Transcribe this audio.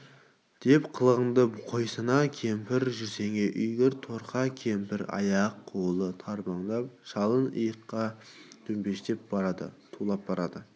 деп қылғынды қойсаңа кемпір жүрсеңе үйге торқа кемпір аяқ-қолы тарбандап шалын иыққа төмпештеп барады тулап барады